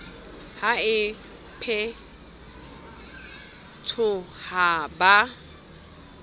ha e phethwe ha ba